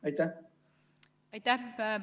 Aitäh!